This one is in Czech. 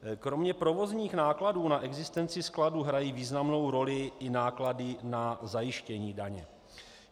Kromě provozních nákladů na existenci skladů hrají významnou roli i náklady na zajištění daně.